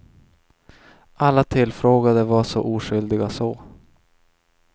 Alla tillfrågade var så oskyldiga så.